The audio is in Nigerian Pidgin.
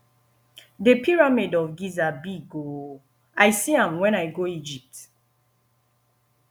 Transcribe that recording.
the pyramid of giza big oo i see am wen i go egypt